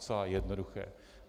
Docela jednoduché.